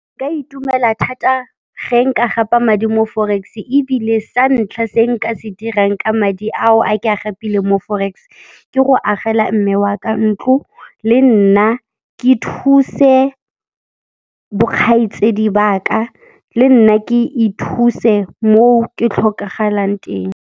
Nka itumela thata ge nka gapa madi mo forex, ebile sa ntlha se nka se dirang ka madi ao a ke a gapile mo forex, ke go agela mme wa ka ntlo le nna ke thuse bokgaitsedi ba ka, le nna ke ithuse mo ke tlhokagalang teng.